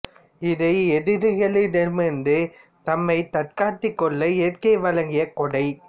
இது எதிரிகளிடம் இருந்து தம்மை தற்காத்துக் கொள்ள இயற்கை வழங்கிய கொடை